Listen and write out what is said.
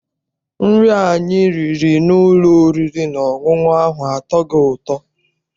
Nri anyị riri n'ụlọ oriri na ọṅụṅụ ahụ atọghị ụtọ.